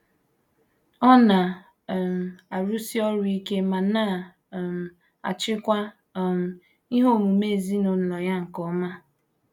Ọ na um - arụsi ọrụ ike ma na um - achịkwa um ihe omume ezinụlọ ya nke ọma.